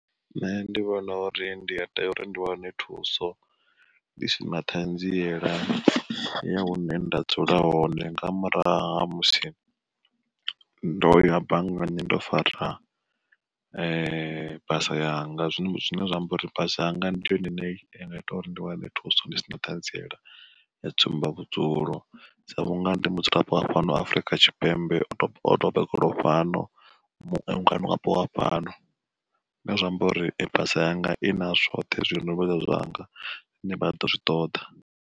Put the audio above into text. Nṋe ndi vhona uri ndi ya tea uri ndi wane thuso, ndi sina ṱhanziela ya hune nda dzula hone, nga murahu ha musi ndo ya banngani ndo fara basa yanga zwino zwine zwa amba uri basa yanga ndi yone ine ya nga ita uri ndi wane thuso ndi si naho ṱhanziela ya tsumba vhudzulo. Sa vhunga ndi mudzulapo wa fhano Afrika kha Tshipembe o to bebelwa ho fhano ngwa niwapo wa fhano, zwi amba uri basa yanga i na zwoṱhe zwine zwavha zwanga zwine vha ḓo zwi ṱoḓa.